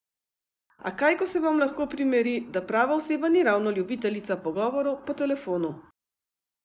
A kaj ko se vam lahko primeri, da prava oseba ni ravno ljubiteljica pogovorov po telefonu.